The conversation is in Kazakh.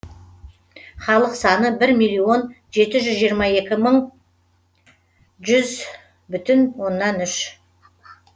халық саны бір миллион жеті жүз жиырма екі мың жүз бін оннан үш